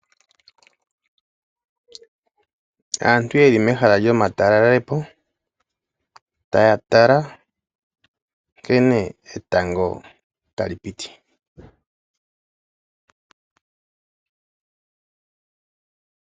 Aantu yeli mehala lyomateleli po taya tala nkene tango tali piti.